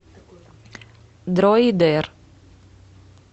дроидер